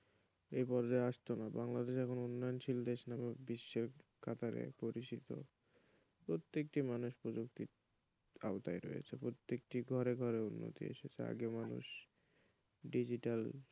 এই পর্যায়ে আসত না বাংলাদেশ এখন উন্নয়নশীল দেশ হিসেবে বিশ্বের কাতারে পরিচিত প্রত্যেকটি মানুষ প্রযুক্তির আওতায় রয়েছে প্রত্যেকটি ঘরে ঘরে উন্নতি এসেছে আগে মানুষ degital,